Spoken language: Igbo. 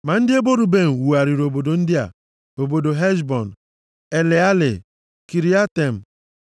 Ma ndị ebo Ruben wugharịrị obodo ndị a: obodo Heshbọn, Eleale, Kiriatem,